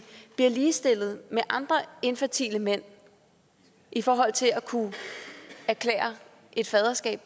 bliver ligestillet med andre infertile mænd i forhold til at kunne erklære et faderskab